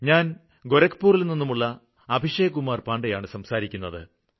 ഞാന് ഗോരഖ്പൂരില് നിന്നുമുള്ള അഭിഷേക് കുമാര് പാണ്ഡെയാണ് സംസാരിക്കുന്നത്